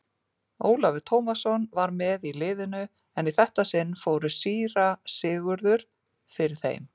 Ólafur Tómasson var með í liðinu en í þetta sinn fór síra Sigurður fyrir þeim.